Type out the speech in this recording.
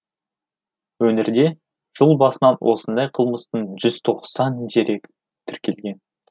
өңірде жыл басынан осындай қылмыстың жүз тоқсан дерегі тіркелген